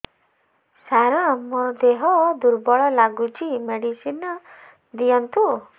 ସାର ମୋର ଦେହ ଦୁର୍ବଳ ଲାଗୁଚି ମେଡିସିନ ଦିଅନ୍ତୁ